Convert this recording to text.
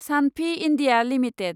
Sanofi India limited